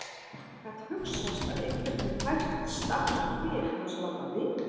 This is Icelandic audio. Gat hugsast að einhver hefði fært staflann til án þess að láta hann vita?